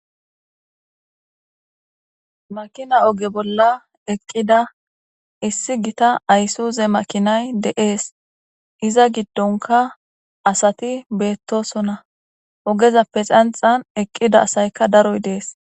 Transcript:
makina oge bolla eqqida issi gita aysuze makinay deees iza giddonka asati beettosona ogezappe xanxan eqqida asayka daroy dees